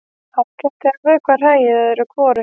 Ágætt er að vökva hræið öðru hvoru.